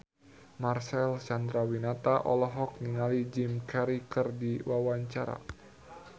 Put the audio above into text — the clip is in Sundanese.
Marcel Chandrawinata olohok ningali Jim Carey keur diwawancara